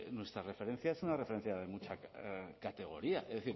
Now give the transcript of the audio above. nuestra referencia es una referencia de mucha categoría es